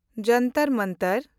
ᱡᱚᱱᱛᱚᱨ ᱢᱚᱱᱛᱚᱨ